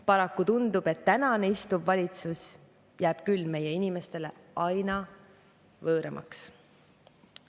Paraku tundub, et tänane istuv valitsus jääb küll meie inimeste jaoks aina võõramaks.